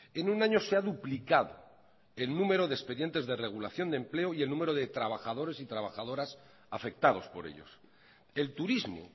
en un año se ha duplicado el número de expedientes de regulación de empleo y el número de trabajadores y trabajadoras afectados por ellos el turismo